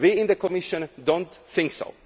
citizens? We in the Commission do not